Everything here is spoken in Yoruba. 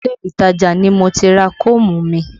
Ilé ìtajà ni mo ti ra koomu mi